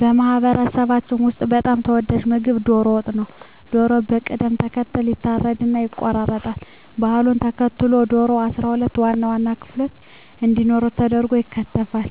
በማህበረሰባችን ውስጥ በጣም ተወዳጁ ምግብ ዶሮ ወጥ ነው። ዶሮው በቅደም ተከተል ይታረድና ይቆረጣል። ባህሉን ተከትሎ ዶሮው 12 ዋና ዋና ክፍሎች እንዲኖሩት ተደርጎ ይከተፋል።